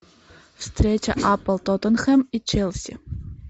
встреча апл тоттенхэм и челси